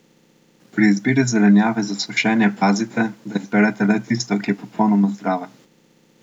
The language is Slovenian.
Pri izbiri zelenjave za sušenje pazite, da izberete le tisto, ki je popolnoma zdrava.